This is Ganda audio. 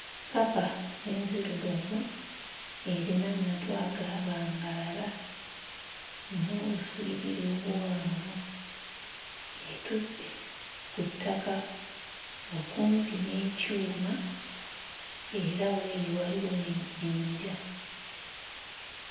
Kkapa enzirugavu erina amatu agaabangalala n'obuswiriri obuwanvu etudde ku ttaka okumpi n'ekyuma era w'eri waliwo n'ejjinja.